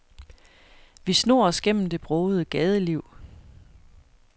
Vi snor os gennem det brogede gadeliv.